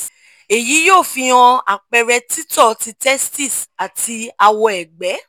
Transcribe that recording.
eyi yoo fi hàn àpẹrẹ tìtọ́ ti testis àti awọ-ẹ̀gbẹ̀